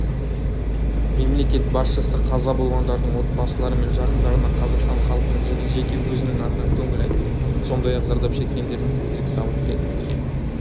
мемлекет басшысы қаза болғандардың отбасылары мен жақындарына қазақстан халқының және жеке өзінің атынан көңіл айтты сондай-ақ зардап шеккендердің тезірек сауығып кетуіне